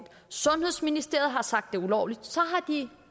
sundhedsministeriet har sagt det er ulovligt